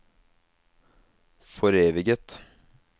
foreviget